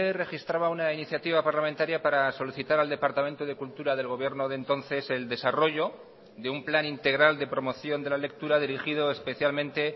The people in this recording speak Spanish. registraba una iniciativa parlamentaria para solicitar al departamento de cultura del gobierno de entonces el desarrollo de un plan integral de promoción de la lectura dirigido especialmente